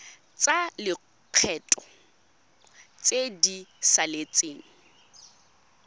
tsa lekgetho tse di saletseng